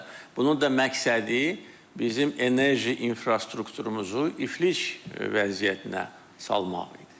Bunun da məqsədi bizim enerji infrastrukturumuzu iflic vəziyyətinə salmaq idi.